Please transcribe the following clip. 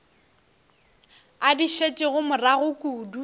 a di šetšego morago kudu